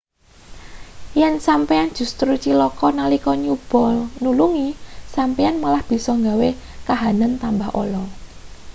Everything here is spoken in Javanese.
yen sampeyan justru cilaka nalika nyoba nulungi sampeyan malah bisa gawe kahanan tambah ala